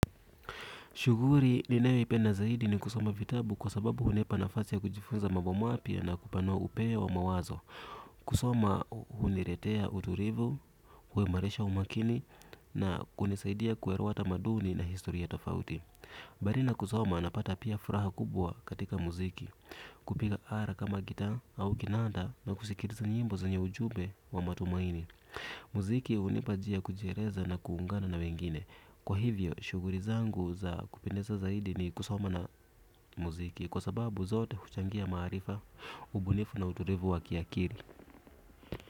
Shughuli, ninayoipenda zaidi ni kusoma vitabu kwa sababu hunipa nafasi ya kujifunza mambo mapya na kupanua upeo wa mawazo. Kusoma, huniletea utulivu, huimarisha umakini na kunisaidia kuelewa tamaduni na historia tofauti. Bali na kusoma, napata pia furaha kubwa katika muziki. Kupiga ala kama gitaa au kinanda na kusikiliza nyimbo zenye ujumbe wa matumaini. Muziki hunipa njia ya kujieleza na kuungana na watu wengine. Kwa hivyo shughuli zangu za kupendeza zaidi ni kusoma na muziki. Kwa sababu zote huchangia maarifa, ubunifu na utulivu wa kiakili.